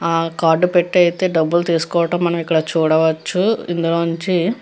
ఆ కార్డ్ పెట్టి అయితే డబ్బులు తిసుకోవటం చూడవచ్చు ఇందులో నుంచి --